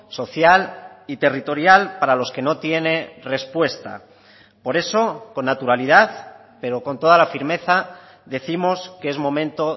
social y territorial para los que no tiene respuesta por eso con naturalidad pero con toda la firmeza décimos que es momento